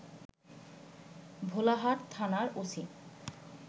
ভোলাহাট থানার ওসি